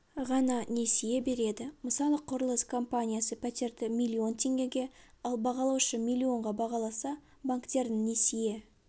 ғана несие береді мысалы құрылыс компаниясы пәтерді миллион теңгеге ал бағалаушы миллионға бағаласа банктердің несие